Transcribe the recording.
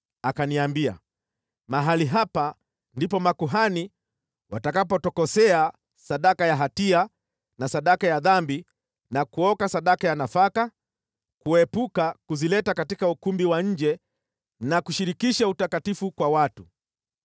Akaniambia, “Mahali hapa ndipo makuhani watakapotokosea sadaka ya hatia na sadaka ya dhambi na kuoka sadaka ya nafaka, kuepuka kuzileta katika ukumbi wa nje na kushirikisha utakatifu kwa watu.”